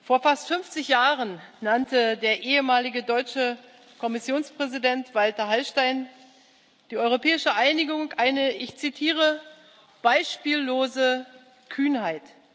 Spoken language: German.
Vor fast fünfzig Jahren nannte der ehemalige deutsche Kommissionspräsident Walter Hallstein die europäische Einigung eine beispiellose Kühnheit.